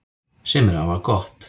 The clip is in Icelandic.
Sem er afar gott